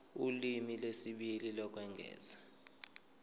ulimi lwesibili lokwengeza